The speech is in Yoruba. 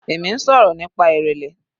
Èmi ń sọ̀rọ̀ nípa ìrẹlẹ.